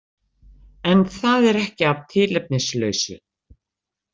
En það er ekki að tilefnislausu.